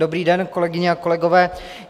Dobrý den, kolegyně a kolegové.